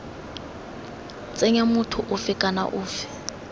tsenya motho ofe kana ofe